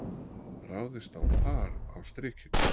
Ráðist á par á Strikinu